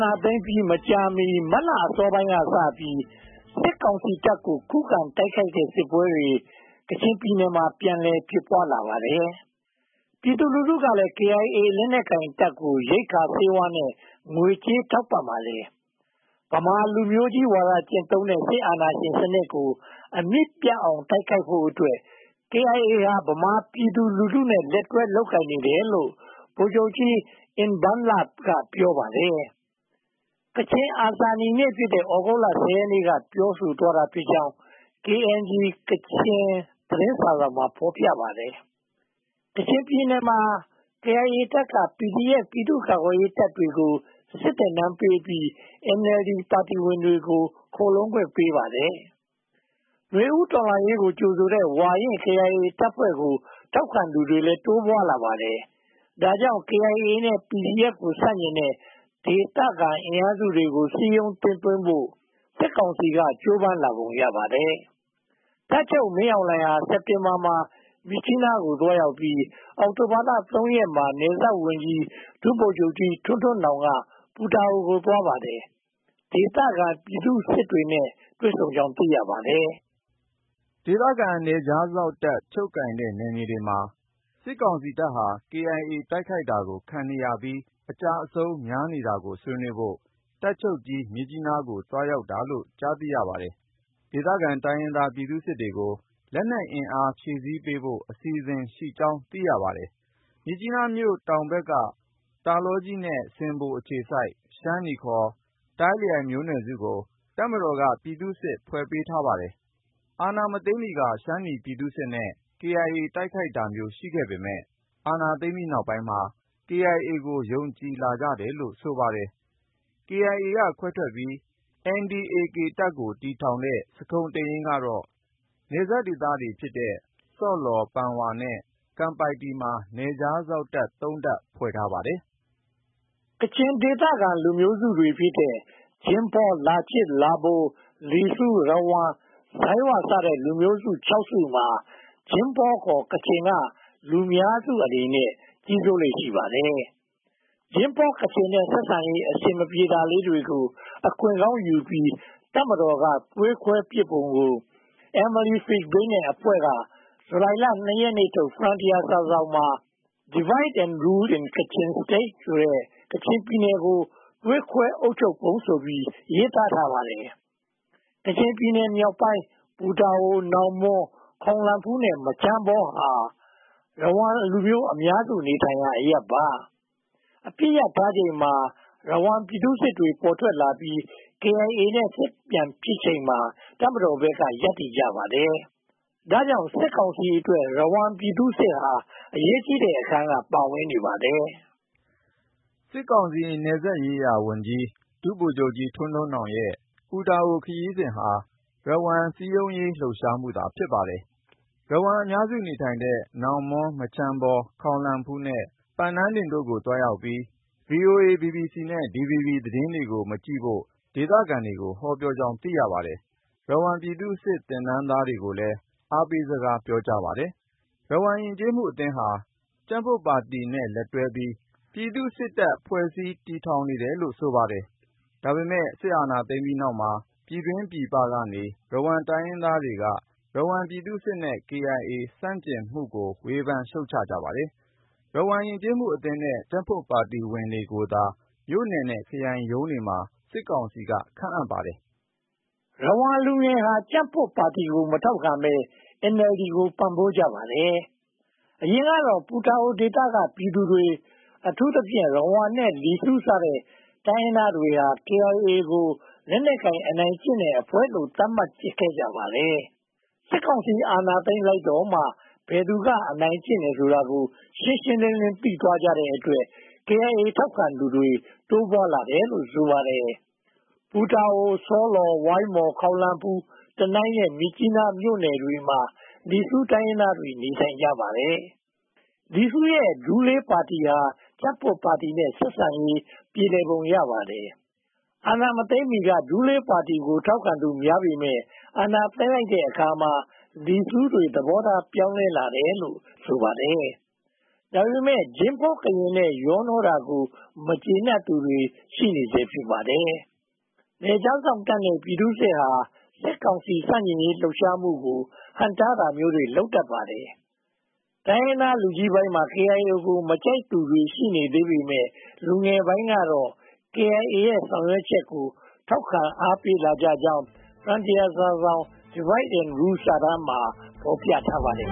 ာသိမ်းပြီး မကြာမီ မတ်လအစောပိုင်းကစပြီး စစ်ကောင်စီတပ်ကို ခုခံတိုက်ခိုက်တဲ့ စစ်ပွဲတွေ ကချင်ပြည်နယ်မှာ ပြန်လည်ဖြစ်ပွားလာပါတယ်။ ပြည်သူလူထုကလည်း KIA လက်နက်ကိုင်တပ်ကို ရိက္ခာ၊ ဆေးဝါးနဲ့ ငွေကြေး ထောက်ပံ့ကြပါတယ်။ ဗမာလူမျိုးကြီးဝါဒ ကျင့်သုံးတဲ့ စစ်အာဏာရှင်စနစ်ကို အမြစ်ပြတ်အောင် တိုက်ခိုက်ဖို့အတွက် KIA ဟာ ဗမာပြည်သူလူထုနဲ့ လက်တွဲလုပ်ကိုင်နေတယ်လို့ ဗိုလ်ချုပ်ကြီး အင်ဘန်းလ က ပြောပါတယ်။ ကချင်အာဇာနည်နေ့ဖြစ်တဲ့ သြဂုတ်လ ရက်နေ့က ပြောဆိုသွားတာဖြစ်ကြောင်း KNG ကချင်သတင်းစာစောင်မှာ ဖော်ပြထားပါတယ်။ ကချင်ပြည်နယ်မှာ KIA တပ်က PDF ပြည်သူ့ကာကွယ်ရေးတပ်တွေကို စစ်သင်တန်းပေးပြီး NLD ပါတီဝင်တွေကိုလည်း ခိုလှုံခွင့်ပေးပါတယ်။ နွေဦးတော်လှန်ရေးကို ကြိုဆိုတဲ့ ဝါရင့် KIA တပ်ဖွဲ့အင်အားစုကို စည်းရုံးသိမ်းသွင်းဖို့ စစ်ကောင်စီ ကြိုးပမ်းလာပုံရပါတယ်။ တပ်ချုပ်မင်းအောင်လှိုင်ဟာ စက်တင်ဘာမှာ မြစ်ကြီးနားကို သွားရောက်ပြီး အောက်တိုဘာလ ရက်နေ့မှာ နယ်စပ်ဝန်ကြီး ဒုဗိုလ်ချုပ်ကြီး ထွန်းထွန်းနောင် ပူတာအိုကို သွားပါတယ်။ ဒေသခံပြည်သူစစ်တွေနဲ့ တွေ့ဆုံကြောင်း သိရပါတယ်။ ဒေသခံနယ်ခြားစောင့်တပ် ချုပ်ကိုင်ထားတဲ့ နယ်မြေတွေမှာ စစ်ကောင်စီတပ်ဟာ KIA တိုက်ခိုက်တာကို ခံနေရပြီး အကျအဆုံးများနေတာကို ဆွေးနွေးဖို့ တပ်ချုပ်ကြီး မြစ်ကြီးနားကို သွားရောက်တာလို့ ကြားသိရပါတယ်။ ဒေသခံတိုင်းရင်းသားပြည်သူစစ်တွေကို လက်နက်အင်အား ဖြည့်ဆည်းပေးဖို့ အစီအစဉ်ရှိကြောင်း သိရပါတယ်။ မြစ်ကြီးနားမြို့တောင်ဘက်က တာလောကြီးနဲ့ ဆင်ဘိုအခြေစိုက် ရှမ်းနီ တိုင်းလိုင်မျိုးနွယ်စုကို တပ်မတော်က ပြည်သူ့စစ် ဖွဲ့ပေးထားပါတယ်။ အာဏာမသိမ်းမီက ရှမ်းနီပြည်သူ့စစ်နဲ့ KIA တိုက်ခိုက်တာမျိုး ရှိခဲ့ပေမယ့်၊ အာဏာသိမ်းပြီးနောက်ပိုင်းမှာ KIA ကို ယုံကြည်လာကြတယ်လို့ ဆိုပါတယ်။ KIA က ခွဲထွက်ပြီး၊ NDA-K တပ်ကို တည်ထောင်တဲ့ စခုန်တိန်ယိန်းကတော့ နယ်စပ်ဒေသတွေဖြစ်တဲ့ ဆော့လော်၊ ပန်ဝါ နဲ့ ကန်ပိုက်တီတို့မှာ နယ်ခြားစောင့်တပ် တပ် ဖွဲ့ထားပါတယ်။ ကချင်ဒေသခံလူမျိုးတွေဖြစ်တဲ့ ဂျိမ်းဖော၊ လာချစ်၊ လာဗို၊ လီဆူ၊ ရဝမ်၊ ဇိုင်းဝ စတဲ့ လူမျိုးစု စုမှာ ဂျိမ်းဖော ကချင်က လူများစုအနေနဲ့ ကြီးစိုးလေ့ ရှိပါတယ်။ ဂျိမ်းဖော နဲ့ ဆက်ဆံရေး အဆင်မပြေတာလေးတွေကို အခွင့်ကောင်းယူပြီး တပ်မတော်က သွေးခွဲပစ်ပုံကို Emily Fishbein နဲ့ အဖွဲ့က ဇူလိုင်လ ရက်နေ့ထုတ် Frontier စာစောင်မှာ Divide & Rule in Kachin State ကချင်ပြည်နယ်ကို သွေးခွဲအုပ်ချုပ်ပုံ ဆိုပြီး ရေးသားထားပါတယ်။ ကချင်ပြည်နယ်မြောက်ပိုင်း ပူတာအို၊ နောင်မွန်း၊ ခေါင်လန်ဖူးနဲ့ မချမ်းဘော ဟာ ရဝမ်လူမျိုးအများစု နေထိုင်ရာ အရပ်ပါ။ အပစ်ရပ်ထားချိန်မှာ ရဝမ်ပြည်သူ့စစ် ပေါ်ထွက်လာပြီး KIA နဲ့ စစ်ပြန်ဖြစ်ချိန်မှာ တပ်မတော်ဘက်က ရပ်တည်ကြပါတယ်။ ဒါကြောင့် စစ်ကောင်စီအတွက် ရဝမ်ပြည်သူ့စစ်ဟာ အရေးကြီးတဲ့အခန်းက ပါဝင်နေပါတယ်။ စစ်ကောင်စီနယ်စပ်ရေးရာဝန်ကြီး ဒုဗိုလ်ချုပ်ကြီးထွန်းထွန်းနောင်ရဲ့ ပူတာအိုခရီးစဉ်ဟာ ရဝမ် စည်းရုံးရေးလှုပ်ရှားမှုသာ ဖြစ်ပါတယ်။ ရဝမ်အများစု နေထိုင်တဲ့ နောင်မွန်း၊ မချမ်းဘော၊ ခေါင်လန်ဖူးနဲ့ ပန်နန်းဒင်တို့ကို သွားရောက်ပြီး VOA, BBC နဲ့ DVB သတင်းတွေကို မကြည့်ဖို့ ဒေသခံတွေကို ဟောပြောကြောင်း သိရပါတယ်။ ရဝမ်ပြည်သူ့စစ် သင်တန်းသွားတွေကိုလည်း အားပေးစကားပြောကြားပါတယ်။ ရဝမ်ယဉ်ကျေးမှုအသင်းဟာ ကြံ့ဖွံ့ပါတီနဲ့ လက်တွဲပြီး ပြည်သူ့စစ်တပ်ဖွဲ့တွေ တည်ထောင်နေတယ်လို့လည်း ဆိုပါတယ်။ ဒါပေမဲ့ စစ်အာဏာသိမ်းပြီးတဲ့နောက်မှာ ပြည်တွင်းပြည်ပနေ ရဝမ်တိုင်းရင်းသားတွေက ရဝမ်ပြည်သူ့စစ်ရဲ့ KIA ဆန့်ကျင်မှုတွေကို ဝေဖန်ရှုတ်ချကြပါတယ်။ ရဝမ်ယဉ်ကျေးမှုအသင်းနဲ့ ကြံ့ဖွံ့ပါတီဝင်တွေကိုသာ မြို့နယ်နဲ့ခရိုင်ရုံးတွေမှာ စစ်ကောင်စီက ခန့်အပ်ပါတယ်။ ရဝမ်လူငယ်ဟာ ကြံ့ဖွံ့ပါတီကို မထောက်ခံဘဲ NLD ကို ပံ့ပိုးကြပါတယ်။ အရင်ကတော့ ပူတာအိုဒေသက ပြည်သူတွေ အထူးသဖြင့် ရဝမ်နဲ့ လီစူးစတဲ့ တိုင်းရင်းသားတွေက KIA ကို လက်နက်ကိုင် အနိုင်ကျင့်တဲ့အဖွဲ့လို့ သတ်မှတ်ကြပါတယ်။ စစ်ကောင်စီ အာဏာသိမ်းလိုက်တော့မှ ဘယ်သူက အနိုင်ကျင့်တယ်ဆိုတာကို ရှင်းရှင်းလင်းလင်း သိသွားကြတဲ့အတွက် KIA ထောက်ခံသူတွေ တိုးပွားလာတယ်လို့ ဆိုပါတယ်။ ပူတာအို၊ ဆောလော်၊ ဝိုင်းမော်၊ ခေါင်လန်ဖူး၊ တနိုင်းနဲ့ မြစ်ကြီးနားမြို့နယ်တွေမှာ လီဆူတိုင်းရင်းသားတွေ နေထိုင်ကြပါတယ်။ လီဆူးရဲ့ ဒူလေးပါတီဟာ ကြံ့ဖွံ့ပါတီနဲ့ ဆက်ဆံရေး ပြေလည်ပုံရပါတယ်။ အာဏာမသိမ်းမီက ဒူးလေးပါတီကို ထောက်ခံသူများပေမယ့် အာဏာသိမ်းလိုက်တဲ့အခါမှာ လီစူးတွေ သဘောထား ပြောင်းလဲလာတယ်လို့ ဆိုပါတယ်။ ဒါပေမဲ့ ဂျိမ်းဖော်ကချင်နဲ့ ရောနှောတာကို မကျေနပ်သူတွေ ရှိနေဆဲ ဖြစ်ပါတယ်။ နယ်ခြားစောင့်တပ်နဲ့ ပြည်သူ့စစ်ဟာ စစ်ကောင်စီ ဆန့်ကျင်ရေးလှုပ်ရှားမှုကို ဟန့်တားတာမျိုး လုပ်တတ်ပါတယ်။ တိုင်းရင်းသားလူကြီးပိုင်းမှာ KIA ကို မကြိုက်သူတွေ ရှိနေသေးပေမယ့် လူငယ်ပိုင်းကတော့ KIA ရဲ့ ဆောင်ရွက်ချက်ကို ထောက်ခံအားပေးလာကြကြောင်း Frontier စာစောင်ထုတ် Divide & Rule စာတမ်မှာ ဖော်ပြထားပါတယ်